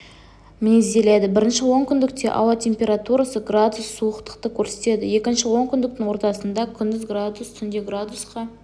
мінезделеді бірінші онкүндікте ауа температурасы градус суықтықты көрсетеді екінші онкүндіктің ортасында күндіз градус түнде градусқа